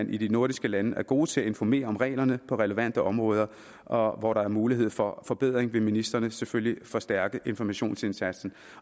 vi i de nordiske lande er gode til at informere om reglerne på relevante områder og hvor der er mulighed for forbedring vil ministrene selvfølgelig forstærke informationsindsatsen